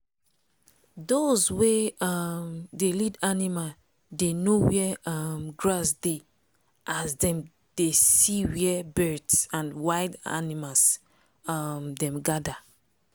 dos wey um dey lead animal dey know where um grass dey as dem dey see where birds and wild animals um dem gather.